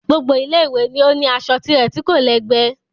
Gbogbo Ilé ìwé ni ó ní aṣọ tirẹ̀ tí kò lẹ́gbẹ́